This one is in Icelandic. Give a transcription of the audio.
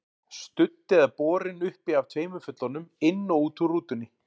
Studd eða borin uppi af tveimur fullorðnum, inn og út úr rútunni.